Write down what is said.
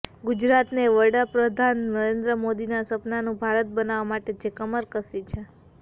ગુજરાતે વડાપ્રધાન નરેન્દ્રભાઈ મોદીના સપનાનું ભારત બનાવવા માટે જે કમર કસી છે